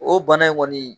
O bana in kɔni